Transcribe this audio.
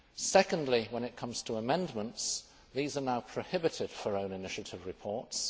Secondly, when it comes to amendments, these are now prohibited for own initiative reports.